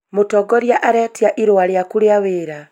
mũtongoria aretia irũa rĩaku rĩa wĩra